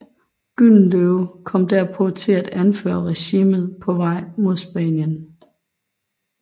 Gyldenløve kom derpå til at anføre regimentet på vej mod Spanien